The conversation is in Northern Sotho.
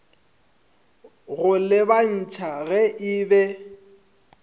go lebantšha ge e be